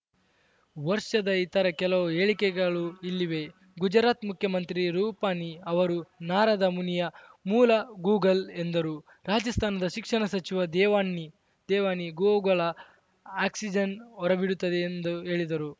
ವರ್ಷದ ಇತರ ಕೆಲವು ಹೇಳಿಕೆಗಳು ಇಲ್ಲಿವೆ ಗುಜರಾತ್‌ ಮುಖ್ಯಮಂತ್ರಿ ರೂಪಾನಿ ಅವರು ನಾರದ ಮುನಿಯ ಮೂಲ ಗೂಗಲ್‌ ಎಂದರು ರಾಜಸ್ಥಾನದ ಶಿಕ್ಷಣ ಸಚಿವ ದೇವ್ನಾನಿ ದೇವ್ನಾನಿ ಗೋವುಗಳು ಆಕ್ಸಿಜನ್‌ ಹೊರಬಿಡುತ್ತಡೇ ಎಂದು ಹೇಳಿದರು